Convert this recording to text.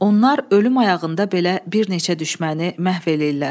Onlar ölüm ayağında belə bir neçə düşməni məhv eləyirlər.